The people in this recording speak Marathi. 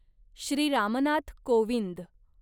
श्री राम नाथ कोविंद